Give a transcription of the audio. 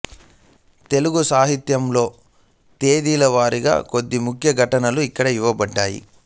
తెలుగు సాహిత్యంలో తేదీల వారీగా కొన్ని ముఖ్య ఘటనలు ఇక్కడ ఇవ్వబడ్డాయి